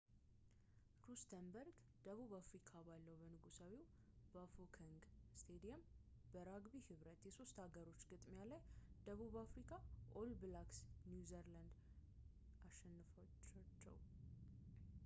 ሩስተንበርግ ደቡብ አፍሪካ ባለው በንጉሳዊው ባፎከንግ ስቴዲየም በራግቢ ህብረት የሶስት ሀገሮች ግጥሚያ ላይ ደቡብ አፍሪካ ኦል ብላክስ ኒውዚላንድን አሸነፈቻቸው